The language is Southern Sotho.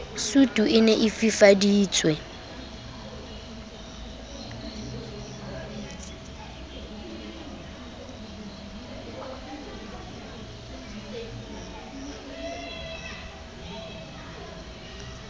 sutu e ne e fifaditswe